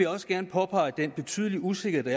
også gerne påpege den betydelige usikkerhed